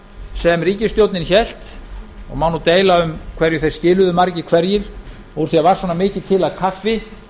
sem ríkisstjórnin hélt og má nú deila um hverju þeir skiluðu margir hverjir úr því að það var svona mikið til af kaffi